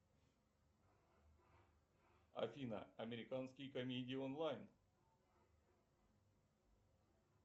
афина американские комедии онлайн